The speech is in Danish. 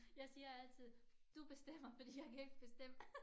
Jeg siger altid du bestemmer fordi jeg kan ikke bestemme